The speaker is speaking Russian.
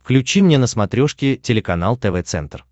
включи мне на смотрешке телеканал тв центр